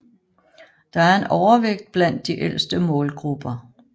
Der er en overvægt blandt de ældste målgrupper